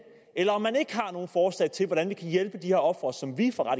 eller om man ikke har nogen forslag til hvordan vi kan hjælpe de her ofre som vi fra